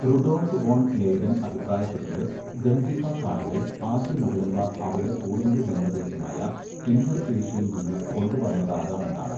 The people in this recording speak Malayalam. റുഡോൾഫ് വോൺ ലെയ്ഡൻ അഭിപ്രായപ്പെട്ടത്, ഗംജിഫ കാർഡുകൾ ആദ്യ മുഗളന്മാർ അവരുടെ പൂർവ്വിക ജന്മദേശമായ ഇന്നർ ഏഷ്യയിൽ നിന്ന് കൊണ്ടുവന്നതാകാമെന്നാണ്.